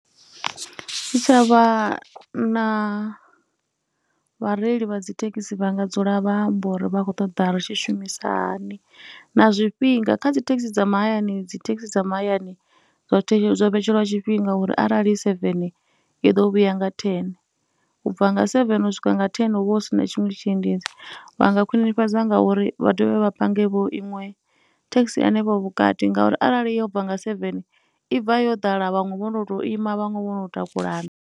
Ndi tsha vha na vhareili vha dzi thekhisi vha nga dzula vha amba uri vha khou ṱoḓa ri tshi shumisa hani na zwifhinga, kha dzi thekhisi dza mahayani, dzi thekhisi dza mahayani zwoṱhe zwo vhetshelwa tshifhinga uri arali i sevene ḓo vhuya nga thene u bva nga sevebe u swika nga thene hu vha hu si na tshiṅwe tshiendedzi. Vha nga khwinifhadzwa ngauri vha dovhe vha pangevho iṅwe thekhisi hanefho vhukati ngauri arali yo bva nga sevene, i bva yo ḓala vhaṅwe vho ndo tou ima vhaṅwe vho no takulana.